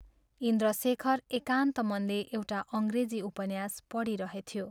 इन्द्रशेखर एकान्त मनले एउटा अंग्रेजी उपन्यास पढिरहेथ्यो।